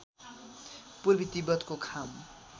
पूर्वी तिब्बतको खाम